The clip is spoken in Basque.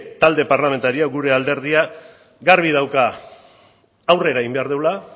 talde parlamentarioa gure alderdia garbi dauka aurrera egin behar dugula